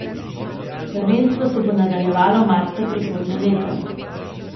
Prvenstvo se bo nadaljevalo marca prihodnje leto.